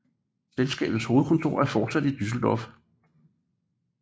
Selskabets hovedkontor er fortsat i Düsseldorf